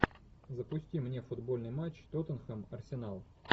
запусти мне футбольный матч тоттенхэм арсенал